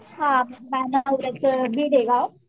हा माझ्या नवऱ्याचं बीड एक हाय